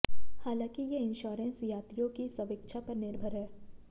हालांकि ये इंश्योंरेंस यात्रियों की स्वेच्छा पर निर्भर हैं